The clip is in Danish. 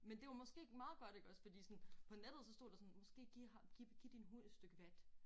Men det var måske meget godt iggås fordi sådan på nettet så stod der sådan måske giv giv giv din hund et stykke vat